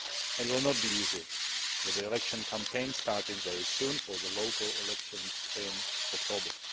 It will not be easy with the election campaign starting very soon for the local elections in October.